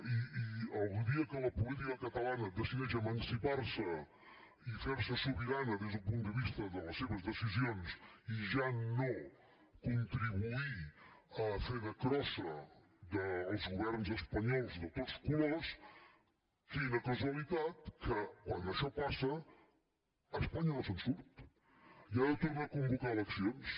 i el dia que la política catalana decideix emancipar se i fer se sobirana des del punt de vista de les seves decisions i ja no contribuir a fer de crossa dels governs espanyols de tots colors quina casualitat que quan això passa espanya no se’n surt i ha de tornar a convocar eleccions